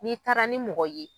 N'i taara ni mɔgɔ ye.